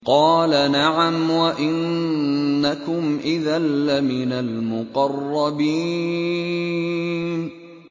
قَالَ نَعَمْ وَإِنَّكُمْ إِذًا لَّمِنَ الْمُقَرَّبِينَ